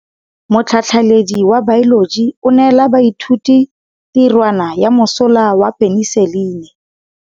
Motlhatlhaledi wa baeloji o neela baithuti tirwana ya mosola wa peniselene.